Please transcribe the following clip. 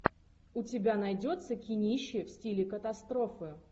у тебя найдется кинище в стиле катастрофы